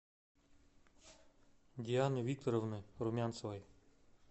дианы викторовны румянцевой